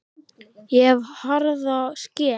Ég hef harða skel.